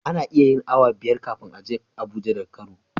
Ana iya yin awa biyar kafin a je abuja daga kano